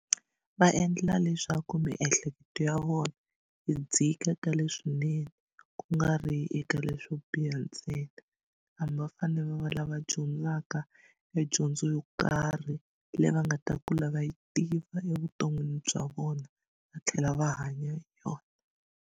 Va endlela leswaku miehleketo ya vona yi dzika ka leswinene ku nga ri eka leswo biha ntsena hambi va fane va va lava dyondzaka e dyondzo yo karhi leyi va nga ta kula va yi tiva evuton'wini bya vona va tlhela va hanya hi yona.